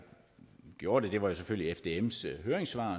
gjorde at jeg gjorde det selvfølgelig fdms høringssvar